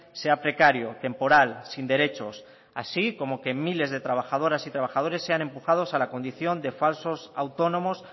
sea precario temporal sin derechos así como que miles de trabajadoras y trabajadores sean empujados a la condición de falsos autónomos